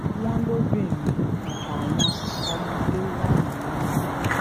wọ́n lóbìnrin àtàwọn ọmọdé wà nínú wọn